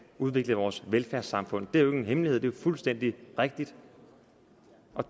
udvikle vores velfærdssamfund det er jo ikke nogen hemmelighed det er fuldstændig rigtigt